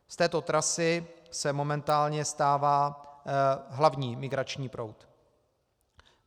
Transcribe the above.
Z této trasy se momentálně stává hlavní migrační proud.